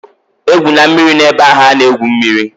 E gwụna mmiri na-ebe ahụ a na-egwu mmiri!